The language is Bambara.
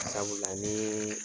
sabula ni